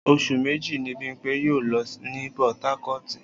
Oṣù méjì ni Bímpé yóò lò ní Port Harcourt